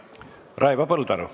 Raivo Põldaru.